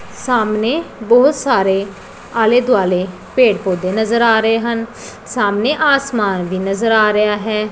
ਸਾਹਮਣੇ ਬਹੁਤ ਸਾਰੇ ਆਲੇ ਦੁਆਲੇ ਪੇੜ ਪੌਦੇ ਨਜ਼ਰ ਆ ਰਹੇ ਹਨ ਸਾਹਮਣੇ ਆਸਮਾਨ ਵੀ ਨਜ਼ਰ ਆ ਰਿਹਾ ਹੈ।